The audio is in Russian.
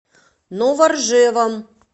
новоржевом